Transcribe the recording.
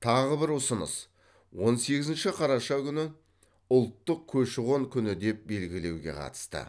тағы бір ұсыныс он сегізінші қараша күнін ұлттық көші қон күні деп белгілеуге қатысты